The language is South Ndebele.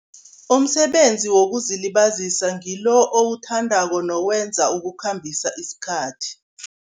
Umsebenzi wokuzilibazisa ngilo owuthandako nowenza ukukhambisa isikhathi.